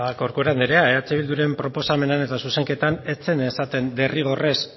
corcuera anderea eh bilduren proposamenean eta zuzenketan ez zen esaten derrigorrez